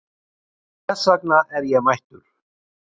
Þess vegna er ég mættur.